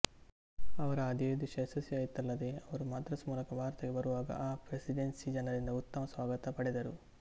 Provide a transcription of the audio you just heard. ಅವರ ಆ ಧ್ಯೇಯೋದ್ದೇಶ ಯಶಸ್ವಿಯಾತಲ್ಲದೇ ಅವರು ಮದ್ರಾಸ್ ಮೂಲಕ ಭಾರತಕ್ಕೆ ಬರುವಾಗ ಆ ಪ್ರೆಸಿಡೆನ್ಸಿ ಜನರಿಂದ ಉತ್ತಮ ಸ್ವಾಗತ ಪಡೆದರು